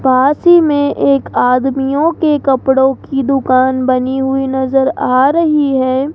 पास ही मे एक आदमियों की कपड़ो की दुकान बनी हुई नज़र आ रही है।